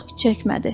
Çox keçmədi.